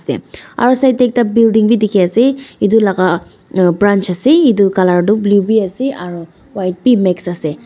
aro side tae ekta building bi dikhiase edu laka ah branch ase edu colour tu blue bi ase aro white bi mx ase.